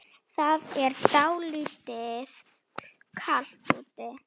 Það er dálítið kalt úti.